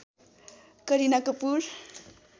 Kareena Kapoor